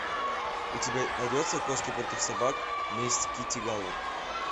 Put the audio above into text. у тебя найдется кошки против собак месть китти галор